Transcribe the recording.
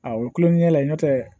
Awɔ tulonkɛ la n'o tɛ